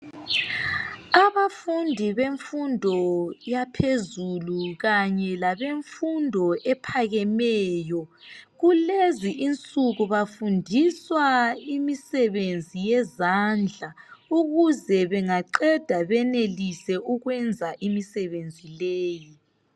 Abafundi bemfundo yaphezulu kanye labemfundo ephakemeyo kulezi insuku bafundiswa imisebenzi yezandla ukuze bengaqeda benelise ukwenza imisebenzi leyi.